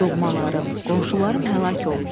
Doğmalarım, qonşularım həlak olub.